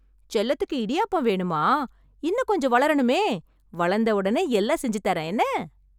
செல்லத்துக்கு இடியாப்பம் வேணுமா, இன்னும் கொஞ்சம் வளரணுமே. வளந்த உடனே எல்லாம் செஞ்சு தரேன் என்ன?